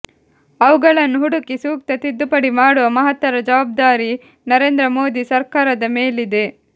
ಅವುಗಳನ್ನು ಹುಡುಕಿ ಸೂಕ್ತ ತಿದ್ದುಪಡಿ ಮಾಡುವ ಮಹತ್ತರ ಜವಾಬ್ದಾರಿ ನರೇಂದ್ರ ಮೋದಿ ಸರ್ಕಾರದ ಮೇಲಿದೆ